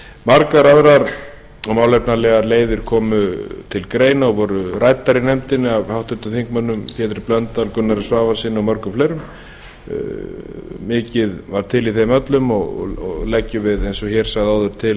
margar aðrar og málefnalegar leiðir komu til greina og voru ræddar í nefndinni af háttvirtum þingmanni pétri blöndal gunnari svavarssyni og mörgum fleirum mikið var til í þeim öllum og leggjum við eins og ég sagði áður